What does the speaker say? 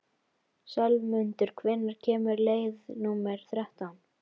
slefmundur, hvenær kemur leið númer þrettán?